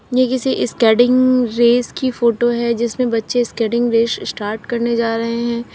ये किसी skating race की फोटो है जिसमें बच्चे स्केटिंग रेस स्टार्ट करने जा रहे हैं।